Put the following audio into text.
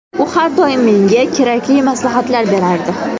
U har doim menga kerakli maslahatlar berardi.